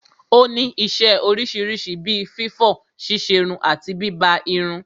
Ó ní isẹ́ oríṣiríṣi bí fífọ̀, ṣíṣerun àti bíbá irun.